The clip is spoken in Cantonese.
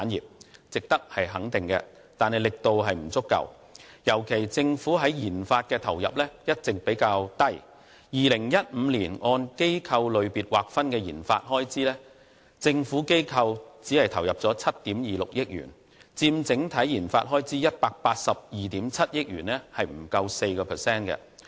這些全部值得肯定，惟力度不足，尤其由於政府在研發方面的投入一直較低 ，2015 年按機構類別劃分的研發開支，政府機構只投入了7億 2,600 萬元，佔整體研發開支182億 7,000 萬元不足 4%。